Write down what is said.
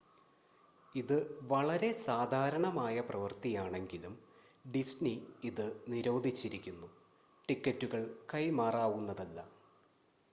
ഇത് വളരെ സാധാരണമായ പ്രവർത്തിയാണെങ്കിലും ഡിസ്നി ഇത് നിരോധിച്ചിരിക്കുന്നു ടിക്കറ്റുകൾ കൈമാറാവുന്നതല്ല